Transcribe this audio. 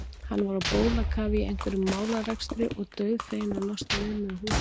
Hann var á bólakafi í einhverjum málarekstri og dauðfeginn að losna við mig úr húsinu.